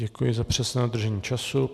Děkuji za přesné dodržení času.